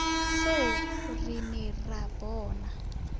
foo re ne ra bona